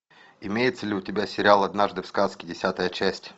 имеется ли у тебя сериал однажды в сказке десятая часть